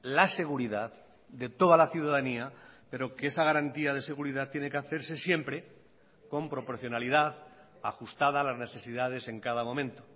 la seguridad de toda la ciudadanía pero que esa garantía de seguridad tiene que hacerse siempre con proporcionalidad ajustada a las necesidades en cada momento